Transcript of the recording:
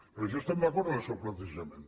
per això estem d’acord amb el seu plantejament